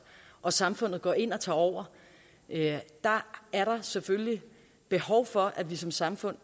og samfundet så går ind og tager over er der selvfølgelig behov for at vi som samfund